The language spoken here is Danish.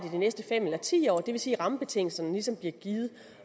i de næste fem år eller ti år det vil sige at rammebetingelserne ligesom bliver givet